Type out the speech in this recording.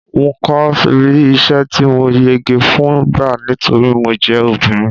n ko ri isẹ ti mo yege fún gba nítorí mo je obìnrin